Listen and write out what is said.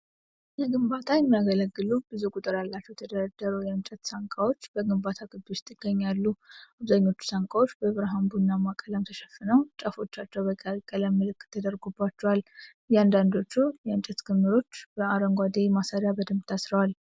ለግንባታ የሚያገለግሉ ብዙ ቁጥር ያላቸው የተደረደሩ የእንጨት ሳንቃዎች በግንባታ ግቢ ውስጥ ይገኛሉ። አብዛኞቹ ሳንቃዎች በብርሃን ቡናማ ቀለም ተሸፍነው፣ ጫፎቻቸው በቀይ ቀለም ምልክት ተደርጎባቸዋል። እያንዳንዳቸው የእንጨት ክምርዎች በአረንጓዴ ማሰሪያ በደንብ ታስረዋል።